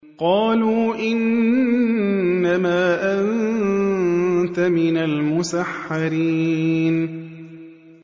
قَالُوا إِنَّمَا أَنتَ مِنَ الْمُسَحَّرِينَ